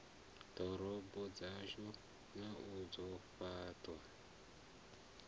ḓorobo dzashu na u fhaṱha